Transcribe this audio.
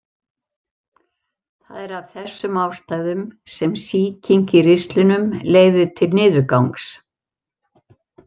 Það er af þessum ástæðum sem sýking í ristlinum leiðir til niðurgangs.